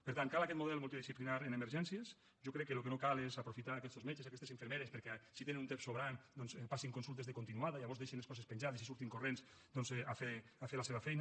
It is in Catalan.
per tant cal aquest model multidisciplinar en emergències jo crec que el que no cal és aprofitar aquestos metges i aquestes infermeres perquè si tenen un temps sobrant doncs passin consultes de continuada i llavors deixin les coses penjades i surtin corrents doncs a fer la seva feina